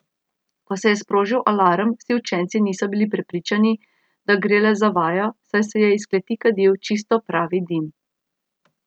Ko se je sprožil alarm, vsi učenci niso bili prepričani, da gre le za vajo, saj se je iz kleti kadil čisto pravi dim.